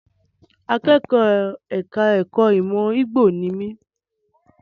Akẹ́kọ̀ọ́ ẹ̀ka ẹ̀kó ìmọ̀ Igbo ni mi.